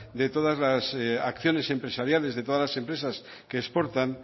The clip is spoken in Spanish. de todas las acciones empresariales de todas las empresas que exportan